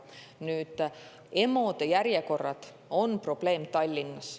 Nüüd, EMO-de järjekorrad on probleem Tallinnas.